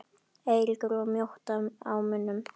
Eiríkur var mjótt á munum?